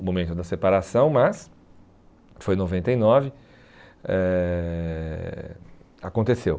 o momento da separação, mas foi em noventa e nove, eh aconteceu.